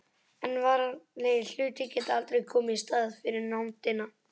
En veraldlegir hlutir geta aldrei komið í staðinn fyrir nándina.